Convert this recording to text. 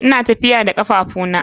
Ina tafiya da kafafuna.